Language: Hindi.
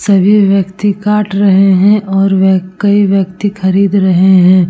सभी व्यक्ति काट रहे हैं और वह कई व्यक्ति खरीद रहे हैं।